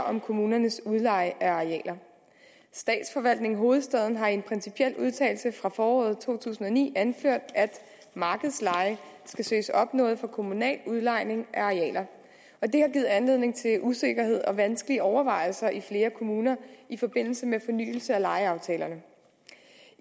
om kommunernes udlejning af arealer statsforvaltningen i hovedstaden har i en principiel udtalelse fra foråret to tusind og ni anført at markedsleje skal søges opnået for kommunal udlejning af arealer og det har givet anledning til usikkerhed og vanskelige overvejelser i flere kommuner i forbindelse med fornyelse af lejeaftalerne